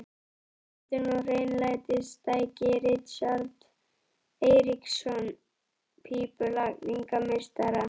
Upphitun og hreinlætistæki: Richard Eiríksson, pípulagningameistari.